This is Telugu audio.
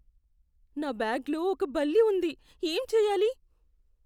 నా బ్యాగ్లో ఒక బల్లి ఉంది. ఏం చెయ్యాలి?